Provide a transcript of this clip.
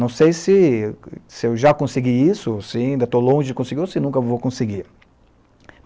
Não sei se se eu já consegui isso, se ainda estou longe de conseguir ou se nunca vou conseguir.